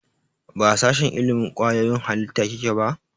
Ba a sashen ilimin kwayoyin halitta kike ba?